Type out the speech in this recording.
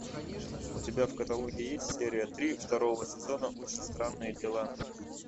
у тебя в каталоге есть серия три второго сезона очень странные дела